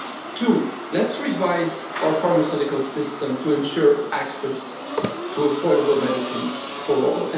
Two let's revise our pharmaceutical system to ensure access to affordable medicines for all.